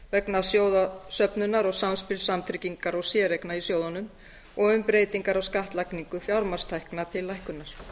vegna sjóðsöfnunar og samspils samtryggingar og séreigna í sjóðunum og um breytingar á skattlagningu fjármagnstekna til lækkunar